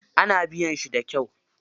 Ana biyan shi da kyau.